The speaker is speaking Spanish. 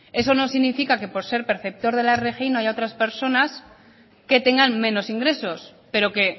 eso no significa que por ser perceptor de la rgi no haya otras personas que tengan menos ingresos pero que